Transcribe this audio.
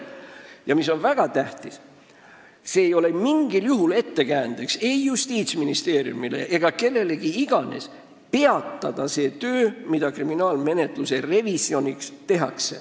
Ja väga tähtis on see, et see ei ole mingil juhul ettekäändeks ei Justiitsministeeriumile ega ka kellelegi teisele peatada see töö, mida tehakse kriminaalmenetluse revisjoni tarbeks.